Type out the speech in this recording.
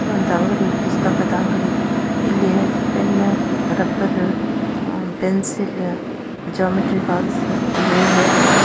ಇದು ಒಂದು ಅಂಗಡಿ ಪುಸ್ತಕದ ಅಂಗಡಿ ಇಲ್ಲಿ pen rubber pencil geometry box eraser .